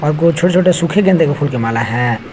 अगो छोटे छोटे सुखे गेंदे का फूल का माला है।